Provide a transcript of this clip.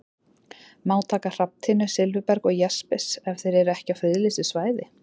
Má taka hrafntinnu, silfurberg og jaspis ef þeir eru ekki á friðlýstu svæði?